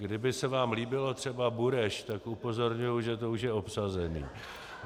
Kdyby se vám líbilo třeba Bureš, tak upozorňuji, že to už je obsazené.